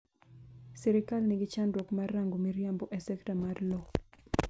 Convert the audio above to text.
sirikal nigi chandruok mar rango mriambo e sekta mar lowo